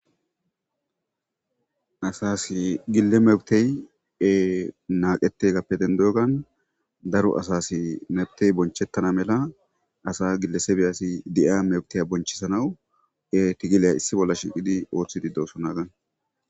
Asassi gile mefttey naqeteyssape dendoyssan asa mefttey bonchetana mela gilesebeta meftiyya bonchisanaw togille othishe de'sonna.